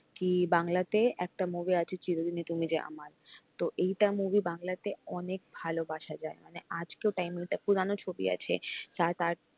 কি বাংলাতে একটা movie আছে চিরদিনই তুমি যে আমার তো এইটা movie বাংলাতে অনেক ভালোবাসা যায় মানে আজকের time এ পুরানো ছবি আছে তার,